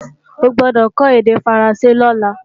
O gbọ́dọ̀ kó èdè Faransé lọ́la!